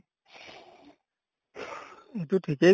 এইটো ঠিকেই